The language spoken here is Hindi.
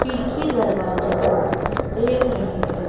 खिड़की दरवाजों को देख रहें हैं।